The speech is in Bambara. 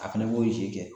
A fɛnɛ b'o kɛ